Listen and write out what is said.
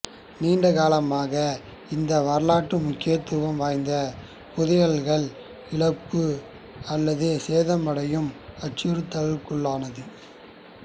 நீண்ட காலமாக இந்த வரலாற்று முக்கியத்துவம் வாய்ந்த புதையல்கள் இழப்பு அல்லது சேதமடையும் அச்சுறுத்தலுக்குட்பட்டிருந்தது